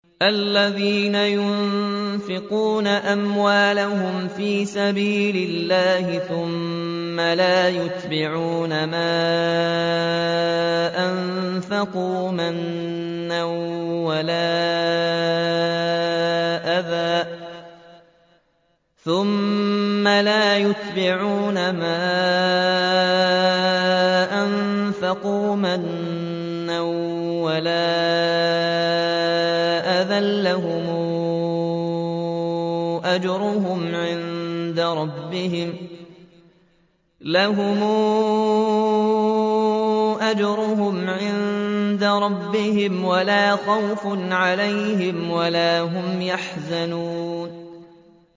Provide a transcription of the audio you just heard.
الَّذِينَ يُنفِقُونَ أَمْوَالَهُمْ فِي سَبِيلِ اللَّهِ ثُمَّ لَا يُتْبِعُونَ مَا أَنفَقُوا مَنًّا وَلَا أَذًى ۙ لَّهُمْ أَجْرُهُمْ عِندَ رَبِّهِمْ وَلَا خَوْفٌ عَلَيْهِمْ وَلَا هُمْ يَحْزَنُونَ